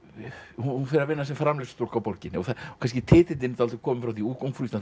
hún fer að vinna sem framreiðslustúlka á borginni og kannski titillinn dálítið kominn frá því ungfrú Ísland